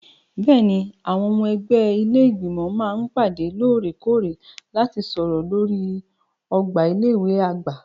Bẹ́ẹ̀ni, àwọn ọmọ ẹgbẹ́ ilé Ìgbìmọ̀ máa ń pàdé lóòrè-kóòrè láti sọ̀rọ̀ lórí ọgbà ilé ìwé àgbà.